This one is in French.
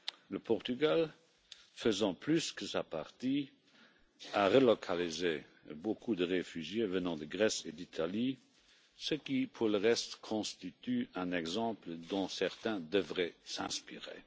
Le Portugal, faisant plus que sa part, a relocalisé beaucoup de réfugiés venant de Grèce et d'Italie, ce qui pour le reste constitue un exemple dont certains devraient s'inspirer.